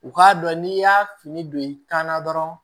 U k'a dɔn n'i y'a fini don i kan na dɔrɔn